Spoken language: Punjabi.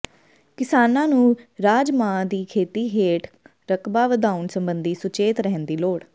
ਕਿਸਾਨਾਂ ਨੂੰ ਰਾਜਮਾਂਹ ਦੀ ਖੇਤੀ ਹੇਠ ਰਕਬਾ ਵਧਾਉਣ ਸਬੰਧੀ ਸੁਚੇਤ ਰਹਿਣ ਦੀ ਲੋੜ